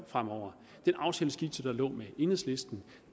fremover i den aftaleskitse med enhedslisten